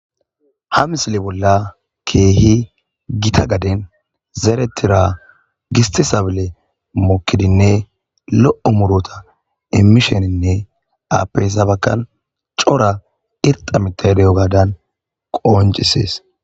ha misili bolla keehi gita gaden zeeretira giste sabile mukidinne lo7o murota immisheninne apeyssa bakkan cora irxamitahdeyo gaadan qooncisees